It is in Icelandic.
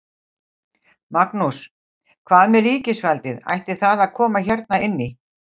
Magnús: Hvað með ríkisvaldið, ætti það að koma hérna inn í?